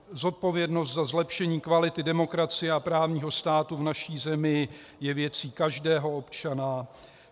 "Zodpovědnost za zlepšení kvality demokracie a právního státu v naší zemi je věcí každého občana.